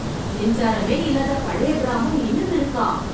மின்சாரமே இல்லாத பழைய கிராமம் இன்னும் இருக்கா!